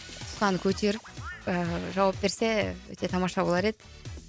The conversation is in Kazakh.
тұтқаны көтеріп ііі жауап берсе өте тамаша болар еді